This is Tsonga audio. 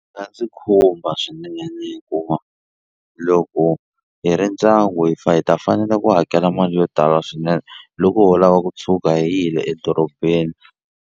ndzi khumba swinene hikuva loko hi ri ndyangu hi hi ta fanela ku hakela mali yo tala swinene loko ho lava ku tshuka hi yile edorobeni.